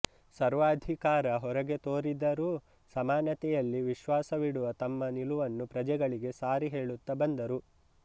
ಸರ್ವಾಧಿಕಾರ ಹೊರಗೆ ತೋರಿದರೂ ಸಮಾನತೆಯಲ್ಲಿ ವಿಶ್ವಾಸವಿಡುವ ತಮ್ಮ ನಿಲುವನ್ನು ಪ್ರಜೆಗಳಿಗೆ ಸಾರಿಹೇಳುತ್ತಾ ಬಂದರು